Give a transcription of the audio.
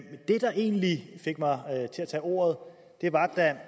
der egentlig fik mig til at tage ordet var da